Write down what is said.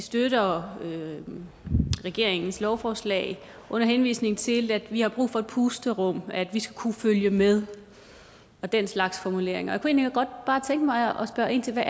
støtter regeringens lovforslag under henvisning til at vi har brug for et pusterum at vi skal kunne følge med og den slags formuleringer jeg godt bare tænke mig at spørge ind til hvad